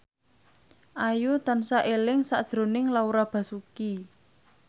Ayu tansah eling sakjroning Laura Basuki